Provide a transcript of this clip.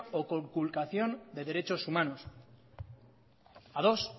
o conculcación de derechos humanos ados